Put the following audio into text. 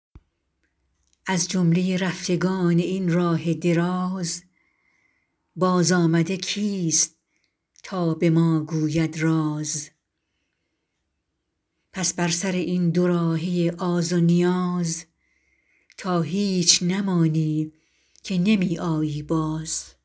از جمله رفتگان این راه دراز بازآمده کیست تا به ما گوید راز پس بر سر این دو راهه آز و نیاز تا هیچ نمانی که نمی آیی باز